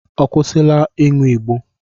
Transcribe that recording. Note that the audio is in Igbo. Ọ kwụsịla ịṅụ ịgbó?